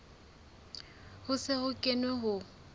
ho se ho kenwe ho